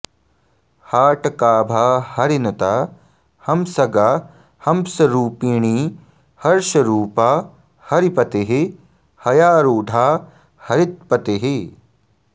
हाटकाभा हरिनुता हम्सगा हम्सरूपिणी हर्षरूपा हरिपतिः हयारूढा हरित्पतिः